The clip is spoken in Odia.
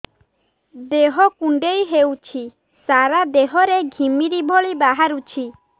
ଦେହ କୁଣ୍ଡେଇ ହେଉଛି ସାରା ଦେହ ରେ ଘିମିରି ଭଳି ବାହାରୁଛି